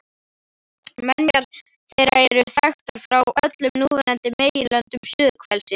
Menjar þeirra eru þekktar frá öllum núverandi meginlöndum suðurhvelsins